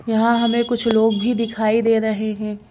यहां हमें कुछ लोग भी दिखाई दे रहे हैं।